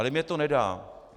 Ale mně to nedá.